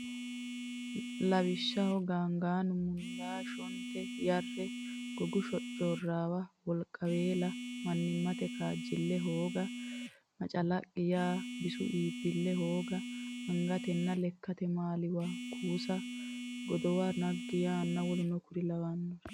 Lawishshaho gaangaanu mundaa shonte yarre gogu shoccoorraawa wolqiweela mannimmate kaajjille hooga macalaqqi yaa bisu iibbille hooga angatenna lekkate maali waa kuusa godowu naggi yaanna w k l.